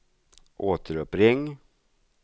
återuppring